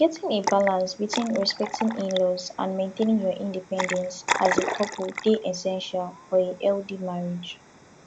getting a balance between respecting inlaws and maintaining your independence as a couple dey essential for a healthy marriage